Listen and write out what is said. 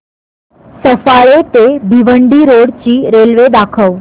सफाळे ते भिवंडी रोड ची रेल्वे दाखव